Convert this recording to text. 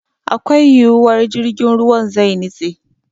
Akwai yiwuwar jirgin ruwan zai nitse.